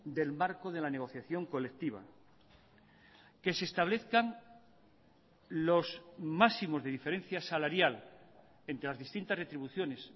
del marco de la negociación colectiva que se establezcan los máximos de diferencia salarial entre las distintas retribuciones